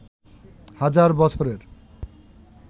হাজার বছরের